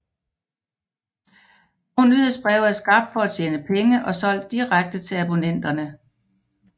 Nogle nyhedsbreve er skabt for at tjene penge og solgt direkte til abonnenterne